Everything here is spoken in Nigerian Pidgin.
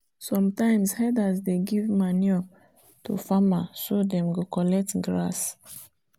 sometimes herders dey give manure to farmer so them go collect grass.